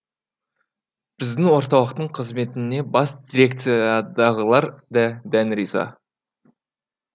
біздің орталықтың қызметіне бас дирекциядағылар да дән риза